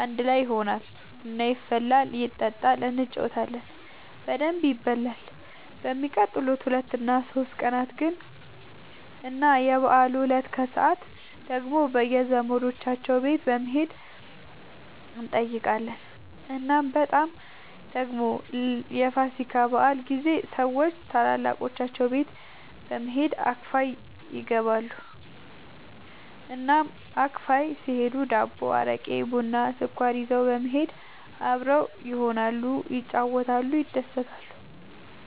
አንድ ላይ ይሆናል፣ ቡና ይፈላል ይጠጣል እንጫወታለን በደንብ ይበላል በሚቀጥሉት ሁለት እና ሶስት ቀናት ግን እና የበዓሉ እለት ከሰዓት ደግሞ በየዘመዶቻቸው ቤት በመሄድ እንጠያየቃለን። እናም በጣም ደግሞ የፋሲካ በዓል ጊዜ ሰዎች ታላላቆቻቸው ቤት በመሄድ አክፋይ ይገባሉ። እናም አክፋይ ሲሄዱ ዳቦ፣ አረቄ፣ ቡና፣ ስኳር ይዘው በመሄድ አብረው ይሆናሉ፣ ይጫወታሉ፣ ይደሰታሉ።